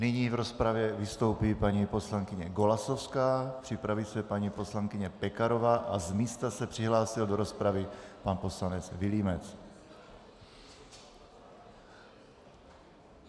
Nyní v rozpravě vystoupí paní poslankyně Golasowská, připraví se paní poslankyně Pekarová a z místa se přihlásil do rozpravy pan poslanec Vilímec.